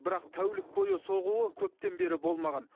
бірақ тәулік бойы соғуы көптен бері болмаған